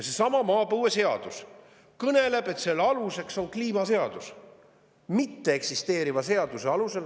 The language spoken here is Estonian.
Seesama maapõueseadus kõneleb, et selle aluseks on kliimaseadus – mitteeksisteeriv seadus.